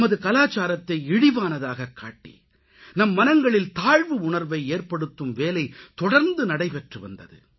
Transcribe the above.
நமது கலாச்சாரத்தை இழிவானதாகக்காட்டி நம் மனங்களில் தாழ்வு உணர்வை ஏற்படுத்தும் வேலை தொடர்ந்து நடைபெற்றுவந்தது